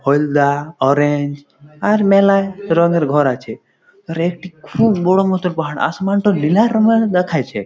হোলদা orange আর মেলায় রঙের ঘর আছে। আর একটি খুব বড় মত ঘ । আসমান টা নীলা রঙের দেখাইছে।